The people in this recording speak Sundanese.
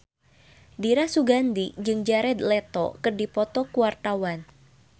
Dira Sugandi jeung Jared Leto keur dipoto ku wartawan